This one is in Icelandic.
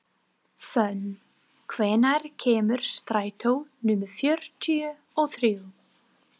Fönn, hvenær kemur strætó númer fjörutíu og þrjú?